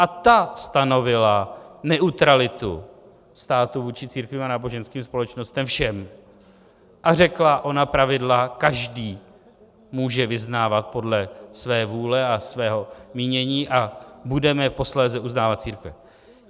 A ta stanovila neutralitu státu vůči církvím a náboženským společnostem - všem - a řekla ona pravidla: každý může vyznávat podle své vůle a svého mínění a budeme posléze uznávat církve.